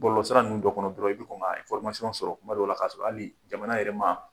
Balolɔsira ninnu dɔ kɔnɔ dɔrɔn i bɛ kɔn ka information sɔrɔ kuma dow la ka sɔrɔ hali jamana yɛrɛ ma